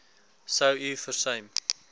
sou u versuim